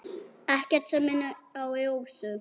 Ekkert sem minnir á Rósu.